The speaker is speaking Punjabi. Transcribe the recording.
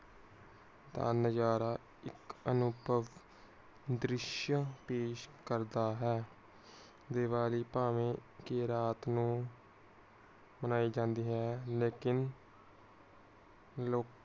ਇਕ ਅਨੁਪਮ ਧਰਿਸ਼ਯ ਪੇਸ਼ ਕਰਦਾ ਹੈ। ਦੀਵਾਲੀ ਭਾਵੇਂ ਕੇ ਰਾਤ ਨੂੰ ਮਨਾਈ ਜਾਂਦੀ ਹੈ। ਲੇਕਿਨ ਲੋਕਾਂ